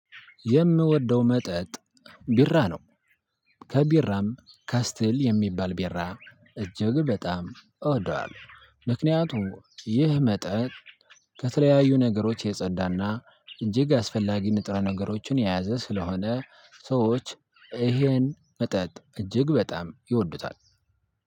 የምወደው መጠጥ ቢራ ነው። ከቢራም ከስትል የሚባል ቢራ እጅግ በጣም እወደዋለሁ። ምክንያቱም ይህ መጠጥ ከተለያዩ ነገሮች የጸዳ እና እጅግ አስፈላጊ ንጥራ ነገሮችን የያዘ ስለሆነ ሰዎች ይሄን መጠጥ እጅግ በጣም ይወዱታል።